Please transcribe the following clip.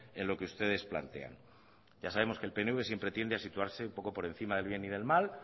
en lo que ustedes plantean ya sabemos que el pnv siempre tiende a situarse un poco por encima del bien y del mal